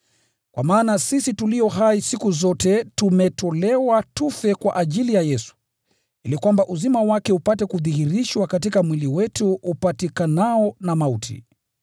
Kwa maana sisi tulio hai siku zote tumetolewa tufe kwa ajili ya Yesu, ili kwamba uzima wake upate kudhihirishwa katika mwili wetu upatikanao na mauti.